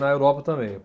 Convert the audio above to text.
Na Europa também.